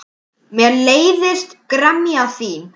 Mér leiðist gremja þín.